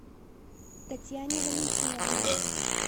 татьяне валентиновне